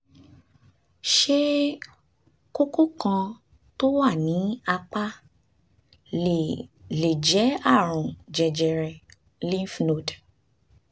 ṣé kókó kan tó wà ní apá lè lè jẹ́ àrùn jẹjẹrẹ lymph node